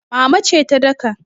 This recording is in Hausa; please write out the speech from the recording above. Mama ce ta daka.